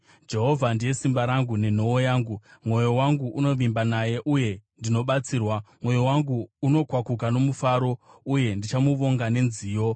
Jehovha ndiye simba rangu nenhoo yangu; mwoyo wangu unovimba naye, uye ndinobatsirwa. Mwoyo wangu unokwakuka nomufaro uye ndichamuvonga nenziyo.